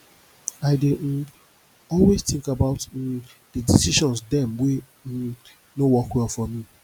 i dey um always tink about um di decision dem wey um no work well for me